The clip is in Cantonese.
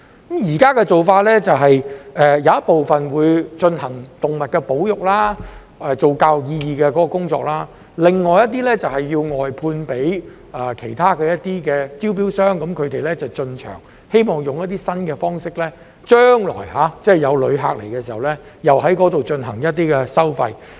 現時的做法是把一部分進行動物保育，做有教育意義的工作，另一些就外判給其他承辦商，由他們進場，希望利用一些新方式，待將來有旅客來港時，在那裏有一些收費。